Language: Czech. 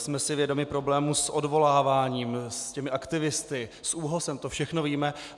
Jsme si vědomi problémů s odvoláváním, s těmi aktivisty, s ÚHOS, to všechno víme.